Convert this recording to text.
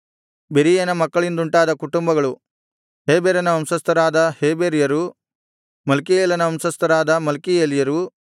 ಬೆರೀಯನ ಮಕ್ಕಳಿಂದುಂಟಾದ ಕುಟುಂಬಗಳು ಹೇಬೆರನ ವಂಶಸ್ಥರಾದ ಹೇಬೆರ್ಯರು ಮಲ್ಕೀಯೇಲನ ವಂಶಸ್ಥರಾದ ಮಲ್ಕೀಯೇಲ್ಯರು